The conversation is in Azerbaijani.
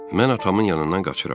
Mən atamın yanından qaçıram.